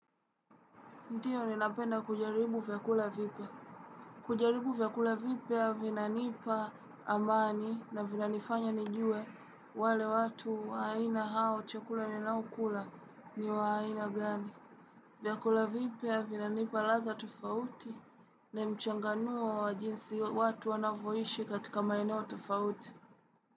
Ndio ninapenda kujaribu vyakula vipya kujaribu vyakula vipya vinanipa amani na vinanifanya nijue wale watu waaina hao chakula ninaokula ni wa aina gani. Vyakula vipya vinanipa ladha tofauti na mchanganuo wa jinsi watu wanavoishi katika maeneo tofauti.